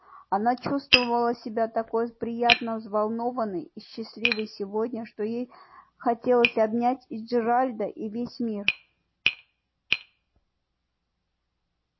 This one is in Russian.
она чувствовала себя такой приятно взволнованной и счастливой сегодня что ей хотелось обнять и джералда и весь мир